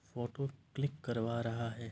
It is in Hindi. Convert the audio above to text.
फोटो क्लिक करवा रहा है।